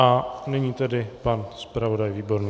A nyní tedy pan zpravodaj Výborný.